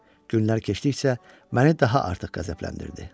Günlər keçdikcə məni daha artıq qəzəbləndirdi.